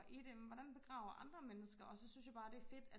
i det hvordan man begraver andre mennesker og så synes jeg bare det er fedt at